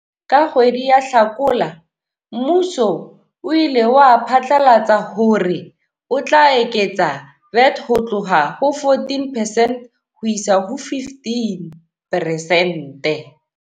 Ka kgwedi ya Hlakola mmuso o ile wa phatlalatsa hore o tla eketsa VAT ho tloha ho 14 percent ho isa ho 15 peresente.